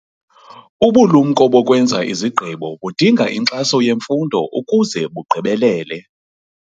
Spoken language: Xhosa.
Ubulumko bokwenza izigqibo budinga inkxaso yemfundo ukuze bugqibelele